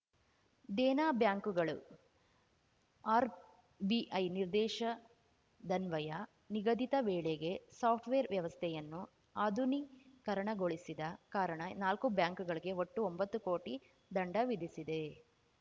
ದೇನಾ ಬ್ಯಾಂಕುಗಳು ಆರ್‌‌ಬಿಐ ನಿರ್ದೇಶದನ್ವಯ ನಿಗದಿತ ವೇಳೆಗೆ ಸಾಫ್ಟ್‌ವೇರ್ ವ್ಯವಸ್ಥೆಯನ್ನು ಆಧುನೀಕರಣಗೊಳಿಸದ ಕಾರಣ ನಾಲ್ಕು ಬ್ಯಾಂಕುಗಳಿಗೆ ಒಟ್ಟು ಒಂಬತ್ತು ಕೋಟಿ ದಂಡ ವಿಧಿಸಿದೆ